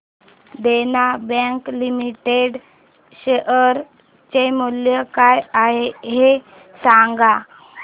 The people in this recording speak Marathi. देना बँक लिमिटेड शेअर चे मूल्य काय आहे हे सांगा